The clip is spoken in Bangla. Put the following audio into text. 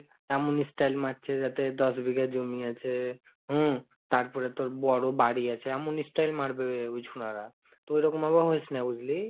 এমনি style মারছে, যাতে দশ বিঘা জমি আছে হুম তারপরে তোর বড় বাড়ি আছে এমন style মারবে ওই ছোড়া রা, তুই ঐরকম ভাবে হইস না বুঝলি,